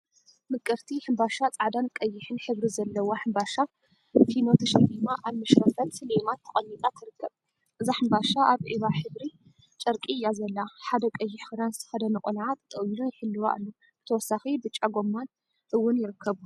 ምቅርቲ ሕምባሻ ፃዕዳን ቀይሕን ሕብሪ ዘለዋ ሕምባሻ ፊኖ ተሸሊማ አብ መሽረፈት ሌማት ተቀሚጣ ትርከብ፡፡ እዛ ሕምባሻ አብ ዒባ ሕብሪ ጨርቂ እያ ዘላ፡፡ ሓደ ቀይሕ ክዳን ዝተከደነ ቆልዓ ጠጠው ኢሉ ይሕልዋ አሎ፡፡ ብተወሳኪ ብጫ ጎማን እውን ይርከቡ፡፡